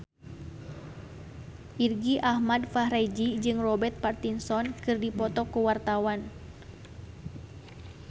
Irgi Ahmad Fahrezi jeung Robert Pattinson keur dipoto ku wartawan